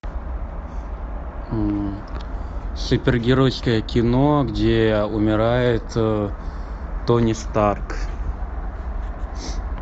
супергеройское кино где умирает тони старк